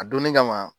A donni kama